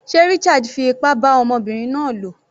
Sé Richard fi ipá bá ọmọbinrin náà lò?